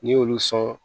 N'i y'olu sɔn